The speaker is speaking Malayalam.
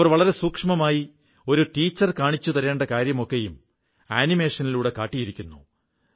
അവർ വളരെ സൂക്ഷ്മമായി ഒരു ടീച്ചർ കാണിച്ചു തരേണ്ട കാര്യമാകെയും ആനിമേഷനിലൂടെ കാട്ടിയിരിക്കുന്നു